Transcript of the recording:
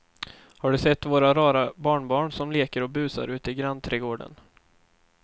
Har du sett våra rara barnbarn som leker och busar ute i grannträdgården!